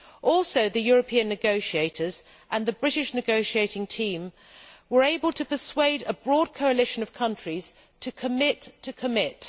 Also, the European negotiators and the British negotiating team were able to persuade a broad coalition of countries to commit to commit.